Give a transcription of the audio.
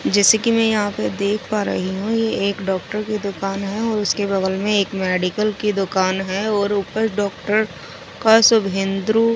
जैसे की में यहाँ देख पा रही हुं ये एक डॉक्टर की दुकान है और उसके बगल में एक मेडिकल की दुकान है और ऊपर डॉक्टर क सुभेन्द्रू पन--